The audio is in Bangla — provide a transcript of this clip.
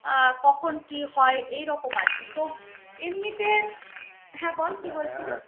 আহ কখন কি হয় এইরকম আর কি তো এমনিতে হ্যা বল কি বলছিলি